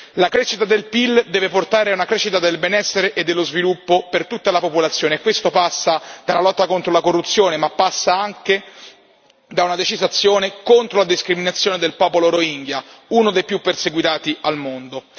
La crescita del PIL deve portare a una crescita del benessere e dello sviluppo per tutta la popolazione e questo passa dalla lotta alla corruzione ma passa anche da una decisa azione contro la discriminazione della popolazione Rohingya, una delle minoranze più perseguitate al mondo.